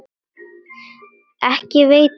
Ekki veitti heldur af.